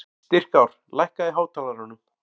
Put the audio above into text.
Styrkár, lækkaðu í hátalaranum.